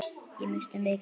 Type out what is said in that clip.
Ég missti mikið.